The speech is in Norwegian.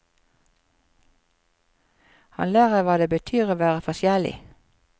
Han lærer hva det betyr å være forskjellig.